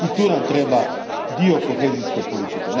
I tu nam treba dio kohezijske politike.